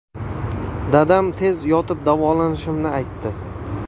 Dadam tez yotib davolanishimni aytdi.